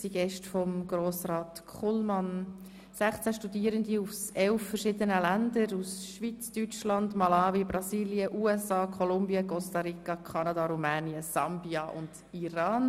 Es sind Gäste von Grossrat Kullmann, nämlich 16 Studierende aus verschiedenen Ländern: aus der Schweiz, aus Deutschland, Malawi, Brasilien, den USA, Kolumbien, Costa Rica, Kanada, Rumänien, Sambia und dem Iran.